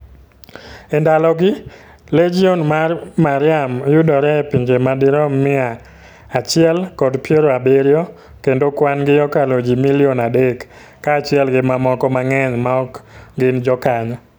E ndalogi, Legion mar Mariam yudore e pinje madirom mia achile kod piero abiriyo, kendo kwan gi okalo ji milion adek, kaachiel gi mamoko mang'eny maok gin jokanyo.